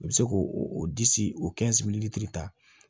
I bɛ se k'o o disi o kan